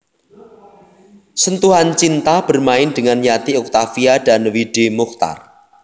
Sentuhan Cinta bermain dengan Yati Octavia dan W D Mochtar